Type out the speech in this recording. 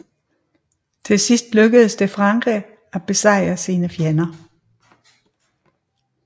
Til sidst lykkedes det Frankrig at besejre sine fjender